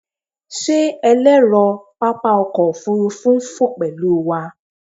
Ṣe ẹlẹrọ papa ọkọ ofurufu n fo pẹlu wa?